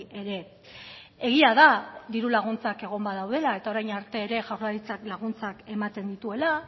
ere egia da diru laguntzak egon badaudela eta orain arte ere jaurlaritzak laguntzak ematen dituela